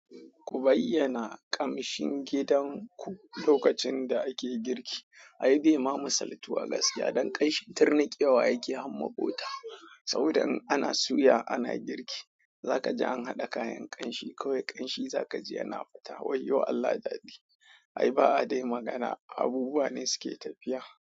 Ku bayyana ƙamshin gidanku lokacin da ake girki. Ai bai ma musultuwa a gaskiya don ƙanshi tirniƙewa yake har ma ƙota. Saboda in ana suya ana girki za ka ji an haɗa kayan ƙanshi kawai ƙanshi za ka ji yana fita wayyo Allah daɗi. Ai ba a dai magana abubuwa ne suke tafiya.